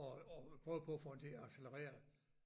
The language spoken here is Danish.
Og og prøver på at på den til at accelerere